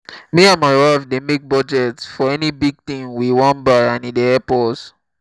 me and my wife dey make budget for any big thing we wan buy and e dey help us.